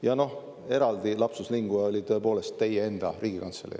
Ja noh, eraldi lapsus linguae oli tõepoolest "teie enda Riigikantselei".